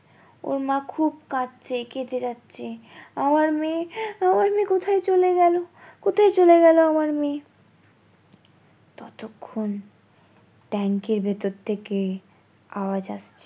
ওর মা খুব কাঁদছে কেঁদে যাচ্ছে আমার মেয়ে আমার মেয়ে কোথায় চলে গেলো কোথায় চলে গেলো আমার মেয়ে? ততক্ষন ট্যাংকির ভেতর থেকে আওয়াজ আসছে